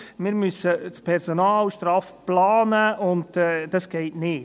«Wir müssen das Personal straff planen, und das geht nicht.